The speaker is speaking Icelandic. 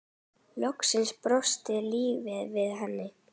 Loksins brosir lífið við henni.